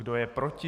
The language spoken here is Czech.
Kdo je proti?